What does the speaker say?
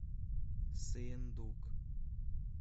сыендук